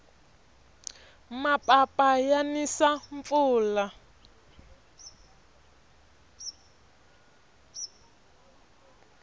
mapapa ya nisa mpfula